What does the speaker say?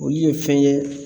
Olu ye fɛn ye